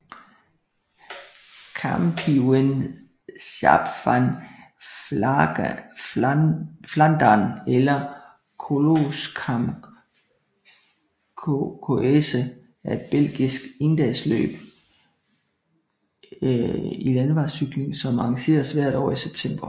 Kampioenschap van Vlaanderen eller Koolskamp Koerse er et belgisk endagsløb i landevejscykling som arrangeres hvert år i september